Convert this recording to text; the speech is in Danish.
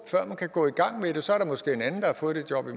gå i gang